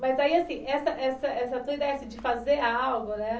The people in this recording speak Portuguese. Mas aí, assim, essa essa essa tua ideia de fazer algo, né?